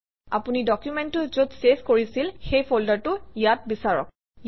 আপুনি ডকুমেণ্টটো যত চেভ কৰিছিল সেই ফল্ডাৰটো ইয়াত বিচাৰক